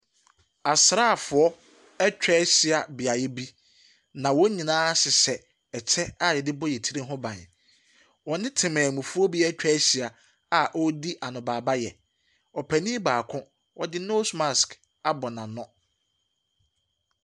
Asraafoɔ atwa ahyia beaeɛ bi, na wɔn nyinaa hyehyɛ kyɛ a wɔde bɔ yɛn tiri ho ban. Wɔne temammufoɔ bi atwa ahyia a wɔredi anobaebaeɛ. Ɔpanin baako, ɔde nose mask abɔ n'ano.